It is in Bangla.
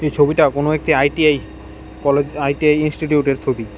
এই ছবিটা কোনো একটি আই_টি_আই কলেজ আই_টি_আই ইনস্টিটিউটের ছবি।